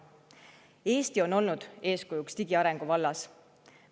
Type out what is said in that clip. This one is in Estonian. Eesti on olnud eeskujuks digiarengu vallas.